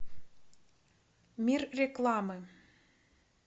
мир рекламы